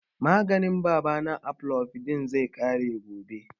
Maganin baba na, amlodipine, zai ƙare gobe